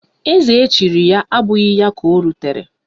Eze echiri ya abụghị ya ka o rutere